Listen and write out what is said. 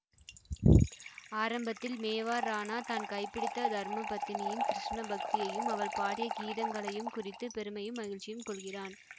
ஆரம்பத்தில் மேவார் ராணா தான் கைப்பிடித்த தர்ம பத்தினியின் கிருஷ்ண பக்தியையும் அவள் பாடிய கீதங்களையும் குறித்து பெருமையும் மகிழ்ச்சியும் கொள்கிறான்